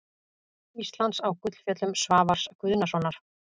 Íslands á Gullfjöllum Svavars Guðnasonar.